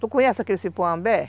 Tu conhece aquele cipó ambé